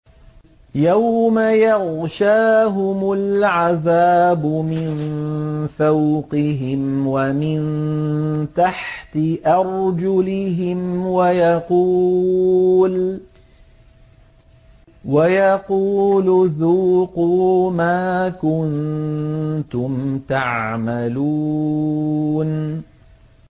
يَوْمَ يَغْشَاهُمُ الْعَذَابُ مِن فَوْقِهِمْ وَمِن تَحْتِ أَرْجُلِهِمْ وَيَقُولُ ذُوقُوا مَا كُنتُمْ تَعْمَلُونَ